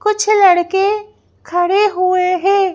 कुछ लड़के खड़े हुए हैं।